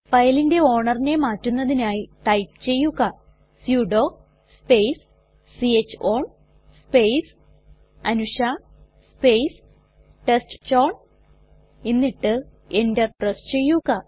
ഫയലിന്റെ ownerനെ മാറ്റുന്നതിനായി ടൈപ്പ് ചെയ്യുക sudo space c h own space Anusha space test chown എന്നിട്ട് എന്റർ പ്രസ് ചെയ്യുക